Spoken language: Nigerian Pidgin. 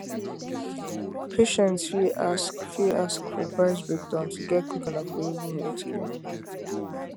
patients fit ask fit ask for price breakdown to get quick and affordable healthcare